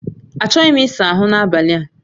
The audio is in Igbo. Achọghị m ịsa ahụ n'abalị a